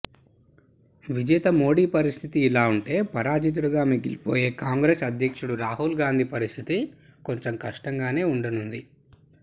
విజేత మోదీ పరిస్థితి ఇలా ఉంటే పరాజితుడిగా మిగిలిపోయే కాంగ్రెస్ అధ్యక్షుడు రాహుల్ గాంధీ పరిస్థితి కొంచెం కష్టంగానే ఉండనుంది